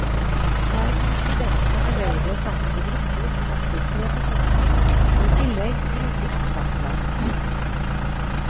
Der kan studentene arbeide sammen i grupper på opptil tre personer, og i tillegg bruke oppslagsverk.